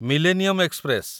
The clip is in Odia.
millennium express